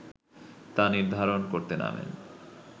তা নির্ধারণ করতে নামেন